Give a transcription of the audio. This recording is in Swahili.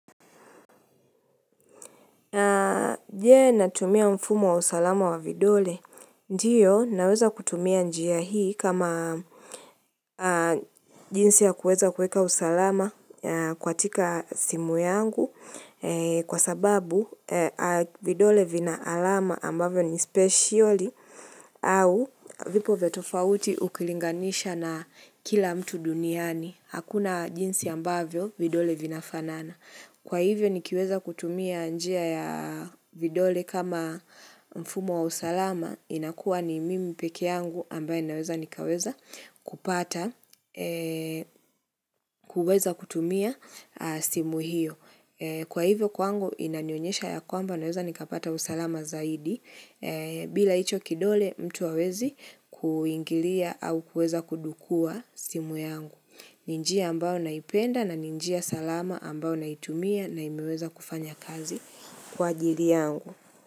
Aaah, je, natumia mfumo wa usalama wa vidole? Ndiyo, naweza kutumia njia hii kama jinsi ya kuweza kuweka usalama katika simu yangu kwa sababu vidole vina alama ambavyo ni speciali au vipo vya tofauti ukilinganisha na kila mtu duniani. Hakuna jinsi ambavyo vidole vinafanana. Kwa hivyo nikiweza kutumia njia ya vidole kama mfumo wa usalama inakua ni mimi pekee yangu ambaye naweza nikaweza kupata, kuweza kutumia simu hiyo. Kwa hivyo kwangu inanionyesha ya kwamba naweza nikapata usalama zaidi bila hicho kidole mtu hawezi kuingilia au kueza kudukua simu yangu. Ni njia ambayo naipenda na ni njia salama ambayo naitumia na imeweza kufanya kazi kwa ajili yangu.